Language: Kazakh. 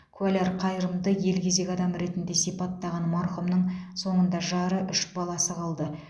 куәлар қайырымды елгезек адам ретінде сипаттаған марқұмның соңында жары үш баласы қалды